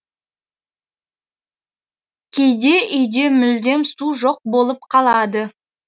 кейде үйде мүлдем су жоқ болып қалады